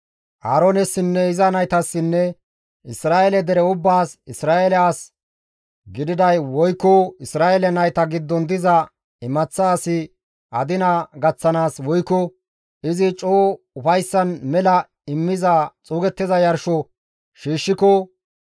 «Aaroones iza naytassinne Isra7eele dere ubbaas, ‹Isra7eele as gididay woykko Isra7eele nayta giddon diza imaththa asi adina gaththanaas woykko izi coo ufayssan mela immiza xuugettiza yarsho shiishshiko,